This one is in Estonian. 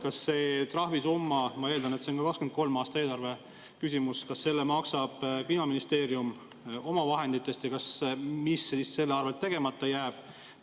Kas selle trahvisumma – ma eeldan, et see on ka 2023. aasta eelarve küsimus – maksab Kliimaministeerium oma vahenditest ja mis siis selle tõttu tegemata jääb?